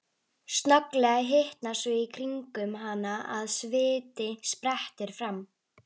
Snögglega hitnar svo í kringum hana að sviti sprettur fram.